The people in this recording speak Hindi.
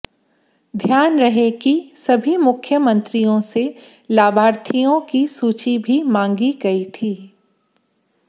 ध्यान रहे कि सभी मुख्यमंत्रियों से लाभार्थियों की सूची भी मांगी गई थी